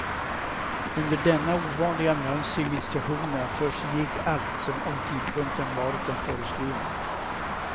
Under denna ovanliga mönstring vid stationerna försiggick allt som om tidpunkten varit den föreskrivna.